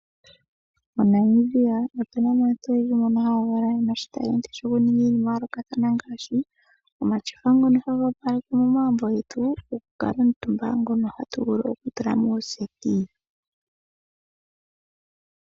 MoNamibia aantu oyendji mbono haa valwa yena oshitalenti ngaashi okuninga omatyofa ngono haga opaleke momagumbo getu okukala omutumba, ngono hatu vulu okutula mondunda yomuuhalo.